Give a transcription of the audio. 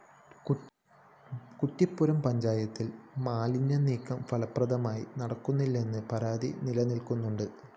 കുറ്റിപ്പുറം പഞ്ചായത്തില്‍ മാലിന്യനീക്കം ഫലപ്രദമായി നടപ്പിലാകുന്നില്ലെന്ന പരാതിയും നിലനില്‍ക്കുന്നുണ്ട്